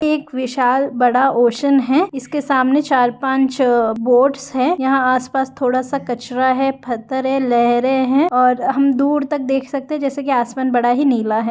यह एक विशाल बड़ा ओशन है इसके के सामने चार पाँच बोटस है यहाँ आसपास थोड़ा सा कचरा है पत्थर है लहरें है हम दूर तक देख सकते है जैसे के आसमान बहुत ही नीला है।